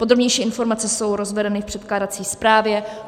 Podrobnější informace jsou rozvedeny v předkládací zprávě.